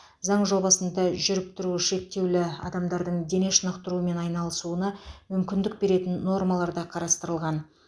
заң жобасында жүріп тұруы шектеулі адамдардың дене шынықтырумен айналысуына мүмкіндік беретін нормалар да қарастырылған